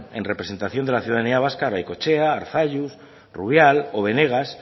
en representación de la ciudadanía vasca garaikoetxea arzallus rubial o benegas